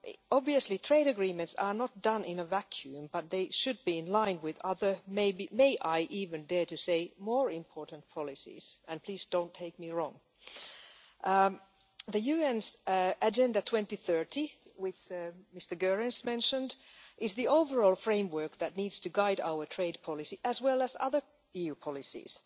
Obviously trade agreements are not done in a vacuum, but they should be in line with other may I even dare to say more important policies, but please don't take me wrong. The UN's Agenda 2030 which Mr Goerens mentioned is the overall framework that needs to guide our trade policy, as well as other EU policies.